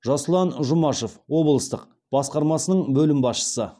жасұлан жұмашев облыстық басқармасының бөлім басшысы